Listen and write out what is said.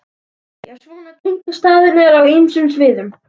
Já, svona tengdust staðirnir á ýmsum sviðum.